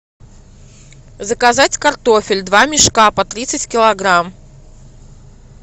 заказать картофель два мешка по тридцать килограмм